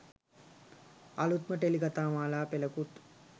අලුත්ම ටෙලි කතාමාලා පෙළකුත්